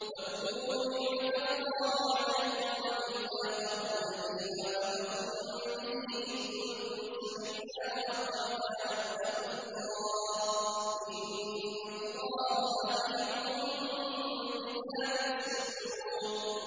وَاذْكُرُوا نِعْمَةَ اللَّهِ عَلَيْكُمْ وَمِيثَاقَهُ الَّذِي وَاثَقَكُم بِهِ إِذْ قُلْتُمْ سَمِعْنَا وَأَطَعْنَا ۖ وَاتَّقُوا اللَّهَ ۚ إِنَّ اللَّهَ عَلِيمٌ بِذَاتِ الصُّدُورِ